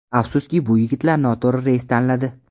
Afsuski, bu yigitlar noto‘g‘ri reys tanladi.